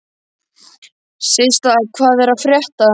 Systa, hvað er að frétta?